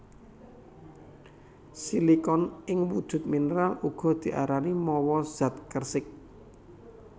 Silikon ing wujud mineral uga diarani mawa zat kersik